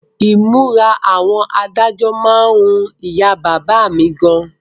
Ìmúra àwọn adájọ́ má ń wu ìyá bàbá mi gan ni